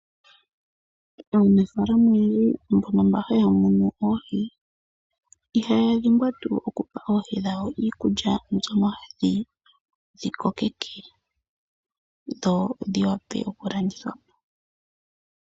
Aanafalama oyendji mbono mba haya munu oohi ihaya dhimbwa tuu okupa oohi dhawo iikulya mbyono hayi dhi kokeke, dho dhi wape okulandithwa po.